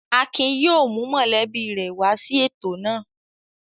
Akin yóò mú mọ̀lẹ́bí rẹ̀ wá sí ètò náà.